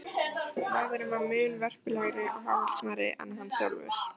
Maðurinn var mun vörpulegri og hávaxnari en hann sjálfur.